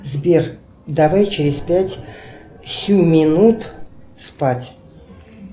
сбер давай через пять семь минут спать